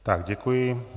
Tak děkuji.